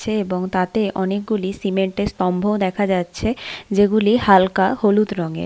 চে এবং তাতে অনেকগুলি সিমেন্ট -এর স্তম্ভ ও দেখা যাচ্ছে যেগুলি হালকা হলুদ রঙের ।